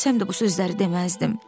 Ölsəm də bu sözləri deməzdim.